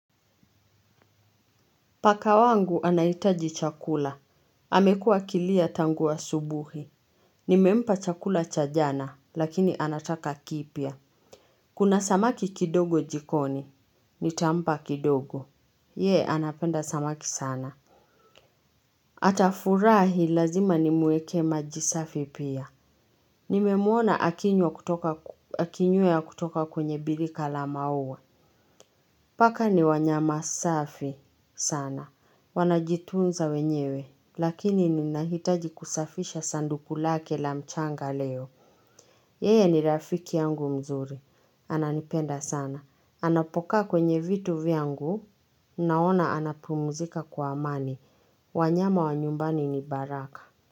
Paka wangu anaitaji chakula amekuwa akilia tangu asubuhi. Nimempa chakula cha jana, lakini anataka kipya. Kuna samaki kidogo jikoni. Nitampa kidogo. Yee, anapenda samaki sana. Atafurahi lazima nimuekee maji safi pia. Nimemuona akinywea kutoka kwenye bilika la maua. Paka ni wanyama safi sana. Wanajitunza wenyewe. Lakini ninahitaji kusafisha sanduku lake la mchanga leo. Yeye ni rafiki yangu mzuri. Ananipenda sana. Anapo kaa kwenye vitu vyangu naona anapumuzika kwa amani. Wanyama wa nyumbani ni baraka.